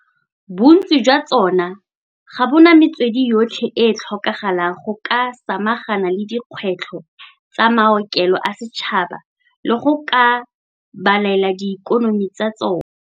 Bontsi jwa tsona ga bona metswedi yotlhe e e tlhokagalang go ka samagana le dikgwetlho tsa maokelo a setšhaba le go ka babalela diikonomi tsa tsona.